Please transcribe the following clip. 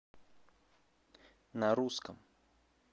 на русском